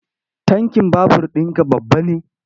Tankin babur ɗinka babba ne?